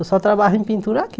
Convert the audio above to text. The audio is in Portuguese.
Eu só trabalho em pintura aqui.